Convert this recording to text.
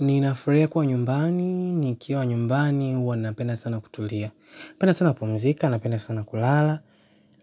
Ninafurahia kuwa nyumbani, nikiwa nyumbani huwa napenda sana kutulia. Napenda sana kupumzika, napenda sana kulala.